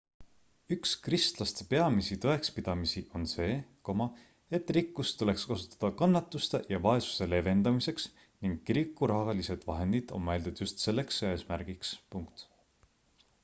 üks kristlaste peamisi tõekspidamisi on see et rikkust tuleks kasutada kannatuste ja vaesuse leevendamiseks ning kiriku rahalised vahendid on mõeldud just selleks eesmärgiks